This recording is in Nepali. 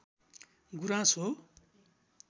गुराँस हो